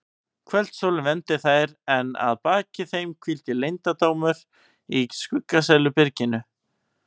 Kvöldsólin vermdi þær en að baki þeim hvíldi leyndardómurinn í skuggsælu byrginu.